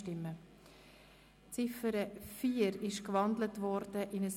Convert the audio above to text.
Die Ziffer 4 ist in ein Postulat umgewandelt worden.